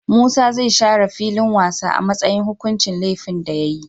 Musa zai share filin wasa a matsayin hukuncin lefin da yayi